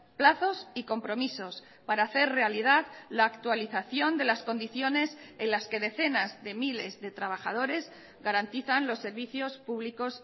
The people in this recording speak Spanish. plazos y compromisos para hacer realidad la actualización de las condiciones en las que decenas de miles de trabajadores garantizan los servicios públicos